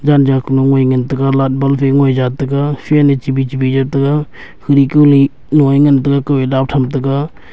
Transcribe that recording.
janja kunoi ngan taiga light bulf ngoija taga fan e chibi chibi jaw taiga khuiki lue lo ee ngan taiga kue dap tham taga.